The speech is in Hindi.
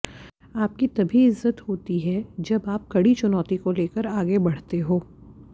आपकी तभी इज्जत होती है जब आप कड़ी चुनौती को लेकर आगे बढ़ते हो